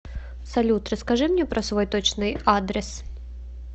салют расскажи мне про свой точный адрес